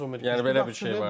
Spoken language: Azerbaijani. Təbii ki, Yan Zommer qapıçıdır.